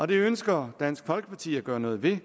det ønsker dansk folkeparti at gøre noget ved